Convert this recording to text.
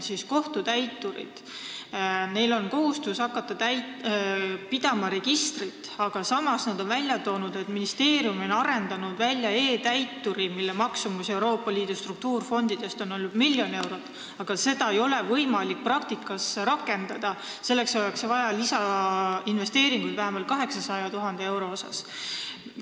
Kohtutäiturid peavad hakkama pidama registrit, aga samas on nad välja toonud, et ministeerium on arendanud välja e-Täituri, mille eest maksti Euroopa Liidu struktuurifondidest miljon eurot, aga seda ei ole võimalik praktikas rakendada – selleks oleks vaja lisainvesteeringuid vähemalt 800 000 euro ulatuses.